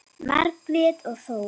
Margrét og Þór.